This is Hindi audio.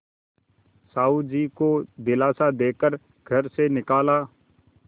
साहु जी को दिलासा दे कर घर से निकाला